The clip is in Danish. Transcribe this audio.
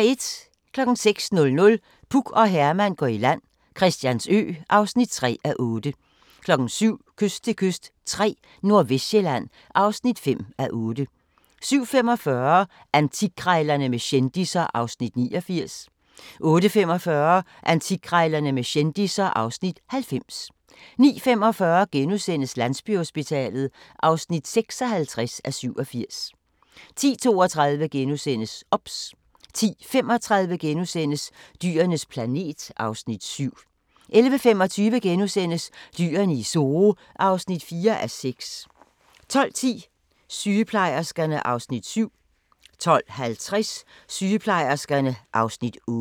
06:00: Puk og Herman går i land - Christiansø (3:8) 07:00: Kyst til kyst III – Nordvestsjælland (5:8) 07:45: Antikkrejlerne med kendisser (Afs. 89) 08:45: Antikkrejlerne med kendisser (Afs. 90) 09:45: Landsbyhospitalet (56:87)* 10:32: OBS * 10:35: Dyrenes planet (Afs. 7)* 11:25: Dyrene i Zoo (4:6)* 12:10: Sygeplejerskerne (Afs. 7) 12:50: Sygeplejerskerne (Afs. 8)